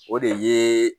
O de ye